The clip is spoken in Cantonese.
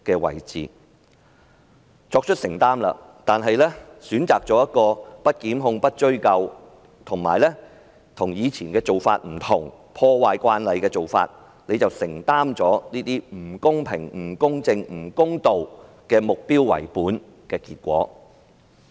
她雖然作出承擔，但選擇了不檢控、不追究及與以往做法不同、破壞慣例的做法，承擔了這些不公平、不公正、不公道的目標為本的結果。